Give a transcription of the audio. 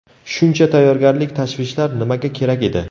Shuncha tayyorgarlik, tashvishlar nimaga kerak edi?